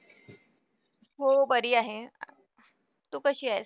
हो बरी आहे. तु कशी आहेस?